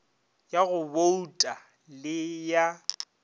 ya go bouta le ya